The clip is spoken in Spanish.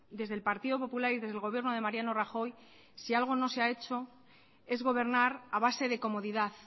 desde el partido popular y desde el gobierno de mariano rajoy si algo no se ha hecho es gobernar a base de comodidad